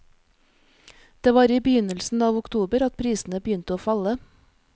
Det var i begynnelsen av oktober at prisene begynte å falle.